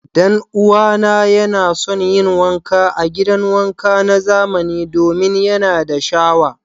Dan'uwana yana son yin wanka a gidan wanka na zamani domin yana da shawa.